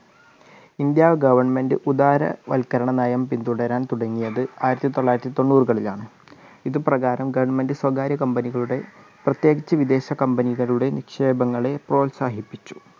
ഇന്ത് government ഉദാരവൽക്കരണ നയം പിന്തുടരാൻ തുടങ്ങിയത് ആയിരത്തി തോള്ളയിരത്തി തോണ്ണൂറുകളിലാണ്. ഇതു പ്രകാരം government സ്വകാര്യ company കളുടെ പ്രത്യേകിച്ച് വിദേശ company കളുടെ നിക്ഷേപങ്ങളെ പ്രോത്സാഹിപ്പിച്ചു.